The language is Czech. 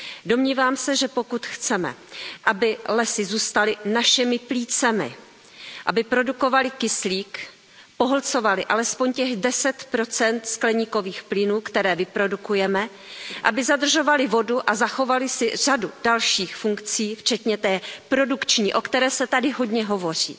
Domnívám se, že pokud chceme, aby lesy zůstaly našimi plícemi, aby produkovaly kyslík, pohlcovaly alespoň těch 10 skleníkových plynů, které vyprodukujeme, aby zadržovaly vodu a zachovaly si řadu dalších funkcí, včetně té produkční, o které se tady hodně hovoří